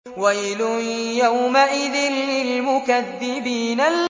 وَيْلٌ يَوْمَئِذٍ لِّلْمُكَذِّبِينَ